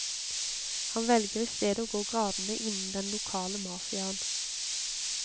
Han velger i stedet å gå gradene innen den lokale mafiaen.